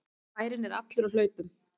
Bærinn er allur á hlaupum!